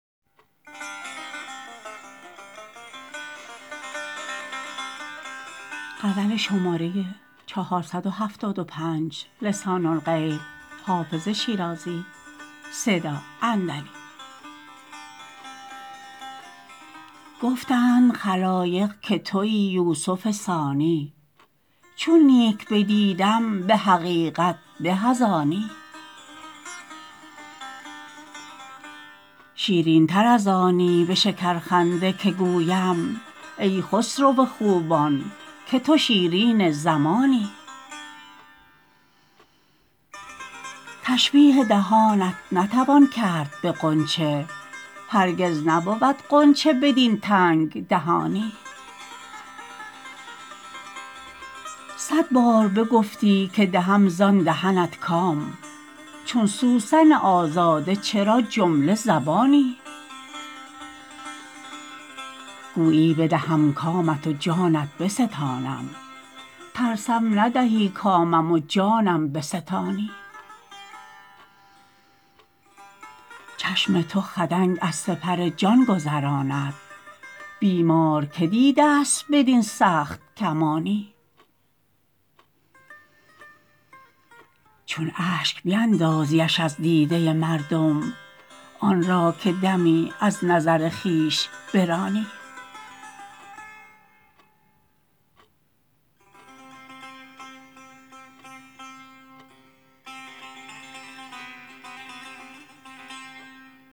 گفتند خلایق که تویی یوسف ثانی چون نیک بدیدم به حقیقت به از آنی شیرین تر از آنی به شکرخنده که گویم ای خسرو خوبان که تو شیرین زمانی تشبیه دهانت نتوان کرد به غنچه هرگز نبود غنچه بدین تنگ دهانی صد بار بگفتی که دهم زان دهنت کام چون سوسن آزاده چرا جمله زبانی گویی بدهم کامت و جانت بستانم ترسم ندهی کامم و جانم بستانی چشم تو خدنگ از سپر جان گذراند بیمار که دیده ست بدین سخت کمانی چون اشک بیندازیش از دیده مردم آن را که دمی از نظر خویش برانی